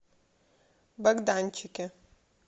богданчике